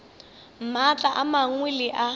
maatla a mangwe le a